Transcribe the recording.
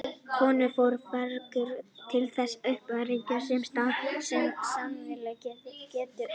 Konur fara í fegrunaraðgerðir til þess að uppfylla óraunhæfa staðla sem samfélagið setur þeim.